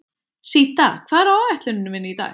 Síta, hvað er á áætluninni minni í dag?